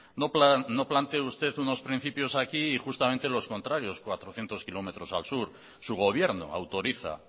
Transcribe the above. no plantee usted unos principios aquí y justamente los contrarios cuatrocientos kilómetros al sur su gobierno autoriza